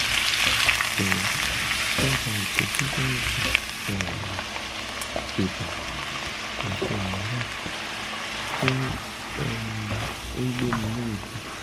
jọ̀wọ́ dábàá ìtọ́jú fún àìsàn um ibà àti àárẹ̀ tó um ń gbéni léèébì